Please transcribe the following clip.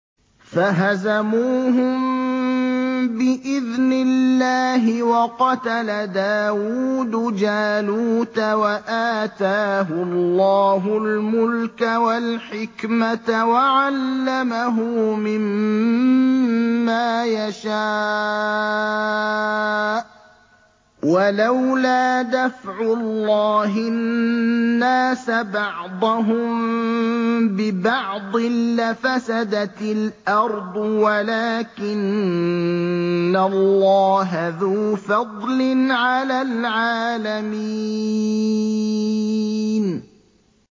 فَهَزَمُوهُم بِإِذْنِ اللَّهِ وَقَتَلَ دَاوُودُ جَالُوتَ وَآتَاهُ اللَّهُ الْمُلْكَ وَالْحِكْمَةَ وَعَلَّمَهُ مِمَّا يَشَاءُ ۗ وَلَوْلَا دَفْعُ اللَّهِ النَّاسَ بَعْضَهُم بِبَعْضٍ لَّفَسَدَتِ الْأَرْضُ وَلَٰكِنَّ اللَّهَ ذُو فَضْلٍ عَلَى الْعَالَمِينَ